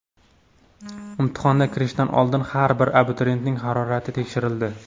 Imtihonga kirishdan oldin har bir abituriyentning harorati tekshirildi.